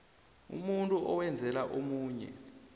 umuntu owenzela omunye